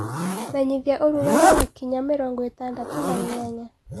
menyĩthĩaũrũgarĩ wakinya mĩrongoĩtandatũ naĩnyanya